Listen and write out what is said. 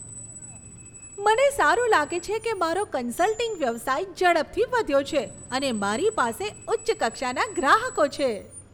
મને સારું લાગે છે કે મારો કન્સલ્ટિંગ વ્યવસાય ઝડપથી વધ્યો છે અને મારી પાસે ઉચ્ચ કક્ષાના ગ્રાહકો છે.